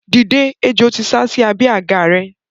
Dìde! Ejò ti sásí abẹ́ àga rẹ.